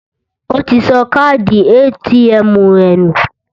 Ó ti sọ káàdì ATM rẹ̀ nù